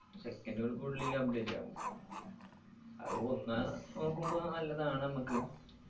second കൾക്കുള്ളില് update ആകും അത് ഒന്ന് നോക്കുമ്പോ നല്ലതാണ് മ്മക്ക്